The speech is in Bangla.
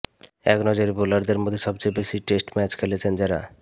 একনজরে বোলারদের মধ্যে সবচেয়ে বেশি টেস্ট ম্যাচ খেলেছেন যাঁরা